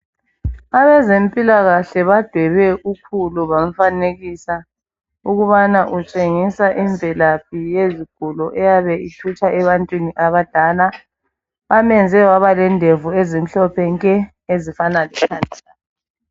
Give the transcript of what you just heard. Abezempilakahle badwebe ukhulu bamfanekisa ukubana utshengisa imvelaphi yezigulo eyabe ithutsha ebantwini abadala. Bamenze waba lendevu ezimhlophe nke, ezifana ...